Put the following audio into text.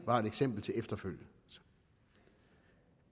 var et eksempel til efterfølgelse